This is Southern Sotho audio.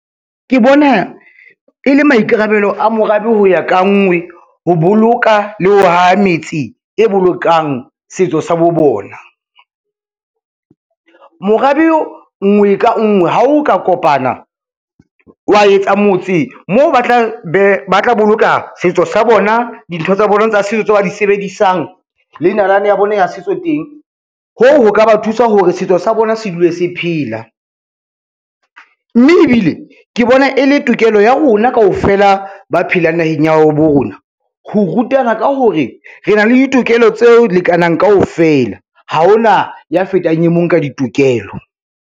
Ke bona e le maikarabelo a morabe ho ya ka nngwe ho boloka le ho haha metse e bolokang setso sa bo bona. Morabe nngwe ka nngwe ha o ka kopana, wa etsa motse moo ba tla boloka setso sa bona, dintho tsa bona tsa setso tse ba di sebedisang le nalane ya bona ya setso teng, hoo ho ka ba thusa hore setso sa bona se dule se phela. Mme ebile ke bona e le tokelo ya rona kaofela ba phelang naheng ya ha bo rona, ho rutana ka hore re na le ditokelo tse lekanang kaofela ha ho na ya fetang e mong ka ditokelo.